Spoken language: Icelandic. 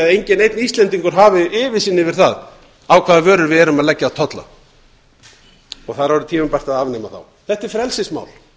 enginn neinn íslendingar hafi yfirsýn yfir það á hvaða vörur við erum að leggja tolla það er orðið tímabært að afnema þá þetta er frelsismál